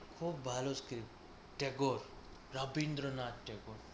খুব ভালো script ট্যাগর রবীন্দ্রনাথ ট্যাগর